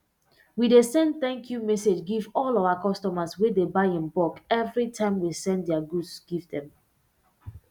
we dey send thank you message give all our customers wey dey buy in bulk evri time we send dia goods give dem